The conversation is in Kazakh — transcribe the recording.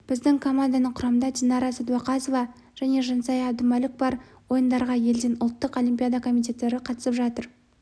біздің команданың құрамында динара сәдуақасова мен жансая әбдүмәлік бар ойындарға елден ұлттық олимпиада комитеттері қатысып жатыр